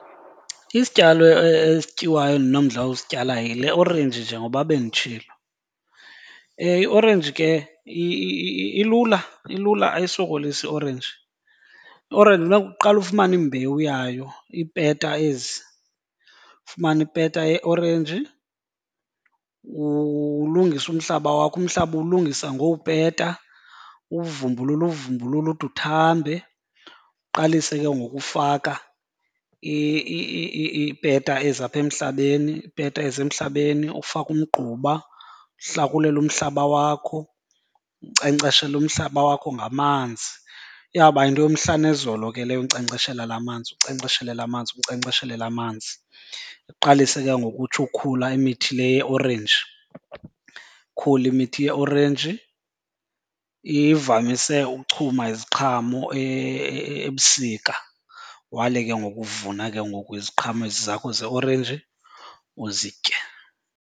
Isityalo esityiwayo endinomdla wosityala yile orenji njengoba benditshilo. Iorenji ke ilula ilula ayisokolisi iorenji. Iorenji kufuneka uqale ufumane imbewu yayo, iipeta ezi. Ufumane ipeta yeorenji, ulungise umhlaba wakho. Umhlaba uwulungisa ngowupeta, uwuvumbulule uwuvumbulule ude uthambe. Uqalise ke ngoku ufaka iipeta ezi apha emhlabeni, iipeta ezi emhlabeni, ufake umgquba, uhlakulele umhlaba wakho, unkcenkceshele umhlaba wakho ngamanzi. Iyawuba yinto yomhla nezolo ke leyo unkcenkceshela laa manzi, unkcenkceshela laa manzi, unkcenkceshele laa manzi. Iqalise ke ngoku utsho ukhula emithi le yiorenji, ikhule imithi yeorenji. Ivamise ukuchuma iziqhamo ebusika, wale ke ngoku uvuna ke ngoku iziqhamo ezi zakho zeorenji uzitye.